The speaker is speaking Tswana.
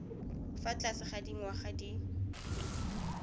fa tlase ga dinyaga di